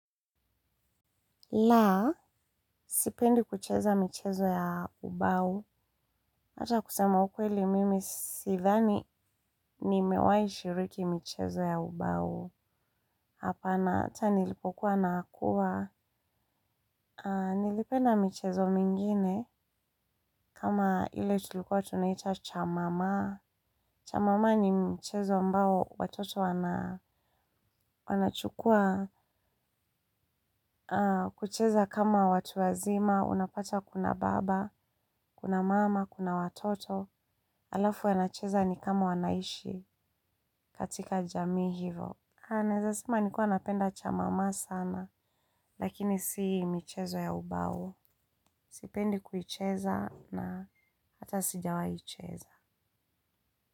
Laa, sipendi kucheza mchezo ya ubau. Ata kusema ukweli mimi sithani nimewai shiriki mchezo ya ubau. Hapa nata nilipokuwa na akuwa. Nilipenda mchezo mingine kama ile tulikuwa tunaita cha mama. Cha mama ni mchezo ambao watoto wanachukua kucheza kama watu wazima. Unapata kuna baba, kuna mama, kuna watoto. Alafu yanacheza ni kama wanaishi katika jami hivo. Ha, nezasema nikua napenda cha mama sana, lakini si michezo ya ubao. Sipendi kuicheza na hata sijawaicheza.